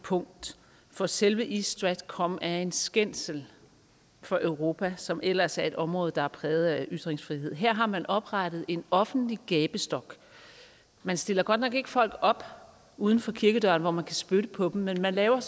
punkt for selve east stratcom er en skændsel for europa som ellers er et område der er præget af ytringsfrihed her har man oprettet en offentlig gabestok man stiller godt nok ikke folk op uden for kirkedøren hvor man kan spytte på dem men man laver